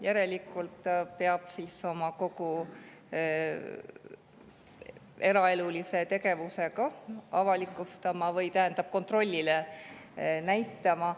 Järelikult peab siis kogu oma eraelulise tegevusega ka avalikustama või neid kontrolli käigus näitama.